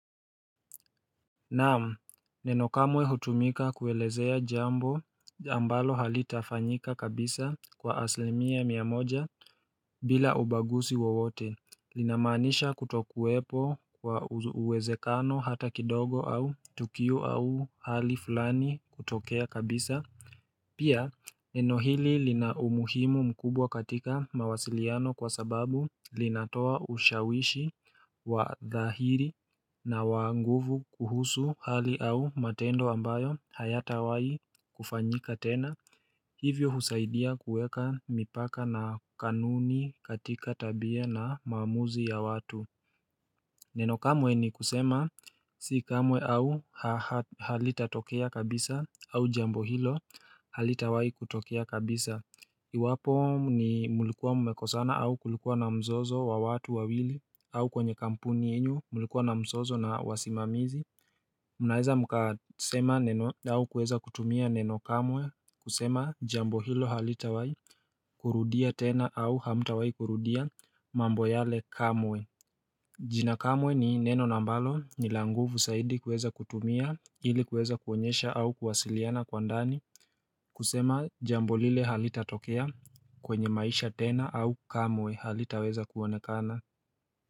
Naam, nenokamwe hutumika kuelezea jambo ambalo halitafanyika kabisa kwa aslimia miamoja bila ubagusi wowote Linamaanisha kutokuwepo kwa uwezekano hata kidogo au tukiu au hali fulani kutokea kabisa Pia neno hili lina umuhimu mkubwa katika mawasiliano kwa sababu linatoa ushawishi wa dhahiri na wanguvu kuhusu hali au matendo ambayo hayata wai kufanyika tena Hivyo husaidia kuweka mipaka na kanuni katika tabia na maamuzi ya watu Neno kamwe ni kusema si kamwe au halita tokea kabisa au jambo hilo halitawai kutokea kabisa Iwapo ni mulikuwa mumekosana au kulikuwa na mzozo wa watu wa wili au kwenye kampuni yenyu mulikuwa na mzozo na wasimamizi Munaeza mkasema neno au kueza kutumia neno kamwe kusema jambo hilo halita wai kurudia tena au hamta wai kurudia mambo yale kamwe jina kamwe ni neno na ambalo ni la nguvu saidi kuweza kutumia ili kuweza kuonyesha au kuwasiliana kwa ndani kusema jambo lile halita tokea kwenye maisha tena au kamwe halita weza kuonekana.